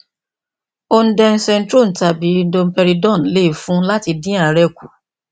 ondensetrone tàbí domperidone lè fún un láti dín àárè kù